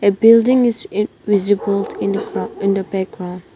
Building is invisible in the background.